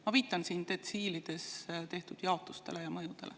Ma viitan siin detsiilides tehtud jaotustele ja mõjudele.